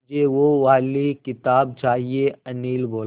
मुझे वो वाली किताब चाहिए अनिल बोला